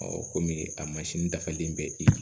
kɔmi a mansin dafalen bɛ i